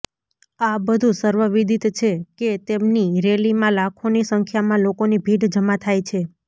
આ બધું સર્વવિદિત છે કે તેમની રેલીમાં લાખોની સંખ્યામાં લોકોની ભીડ જમા થાય છે